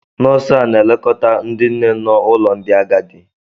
Nọọsụ a na-elekọta ndị nne nọ ụlọ ndi agadi.